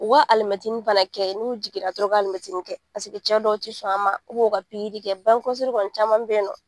U ka alimɛtinin fana kɛ n'u jiginna dɔrɔn u ka alimɛtinin kɛ. Paseke cɛ dɔw ti sɔn a ma , u ka kɛ bange kɔlɔsili kɔni caman be yen nɔ.